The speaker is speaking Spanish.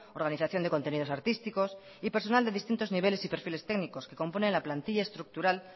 organización de contenidos artísticos y personal de distintos niveles y perfiles técnicos que componen la plantilla estructural